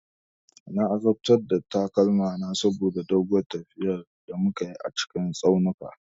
Na azabtar da takalmana saboda doguwar tafiya da muka yi a cikin tsaunuka.